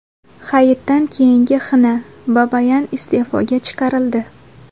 Hayitdan keyingi xina: Babayan iste’foga chiqarildi .